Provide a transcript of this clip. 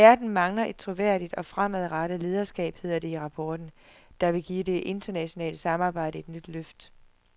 Verden mangler et troværdigt og fremadrettet lederskab, hedder det i rapporten, der vil give det internationale samarbejde et nyt løft.